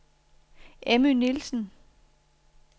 Emmy Nielsen